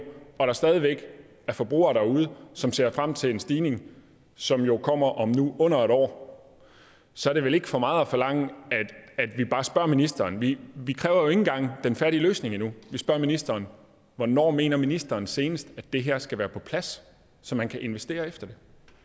og der stadig væk er forbrugere derude som ser frem til en stigning som jo nu kommer om under et år så er det vel ikke for meget at forlange at vi bare spørger ministeren vi vi kræver jo ikke engang den færdige løsning endnu vi spørger ministeren hvornår mener ministeren senest at det her skal være på plads så man kan investere efter